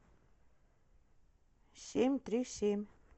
семь три семь